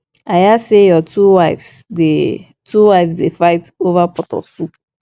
i hear say your two wives dey two wives dey fight over pot of soup